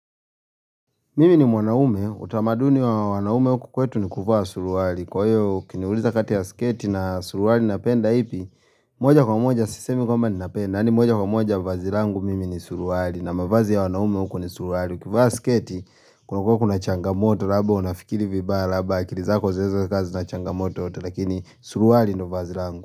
Mimi ni mwanaume, utamaduni wa wanaume uku kwetu ni kuvaa suruwali. Kwa hiyo ukiniuliza kati ya sketi na suruali napenda ipi, moja kwa moja sisemi kwamba ni napenda, nani moja kwa moja vazirangu mimi ni suruwali na mavazi ya wanaume uku ni suruali. Kuvaa sketi, kuna kwa kuna changamoto, labda unafikiri vibaya, labda kilizako zeze kazi na changamoto, lakini suruwali ndo vazi rangu.